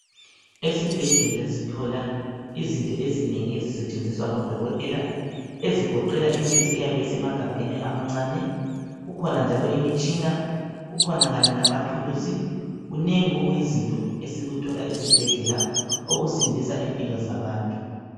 Esibhedlela sithola izinto ezinengi ezisetshenziswa ngodokitela. Ezigoqela imithi eyabe isemagabheni amancane. Kukhona njalo imitshina. Kukhona kanye lamathuluzi. Kunengi okuyizinto esikuthola ezibhedlela okusindisa impilo zabantu.